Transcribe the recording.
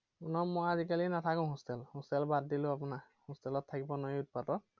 নহয়, মই আজিকালি নাথাকো hostel ত। hostel বাদ দিলো আপোনাৰ hostel ত থাকিব নোৱাৰি উৎপাতত।